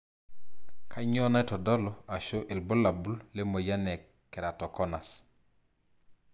kanyio naitodulu ashu ilbulabul lemoyian e keratoconus?